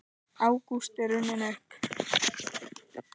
Ágúst er runninn upp.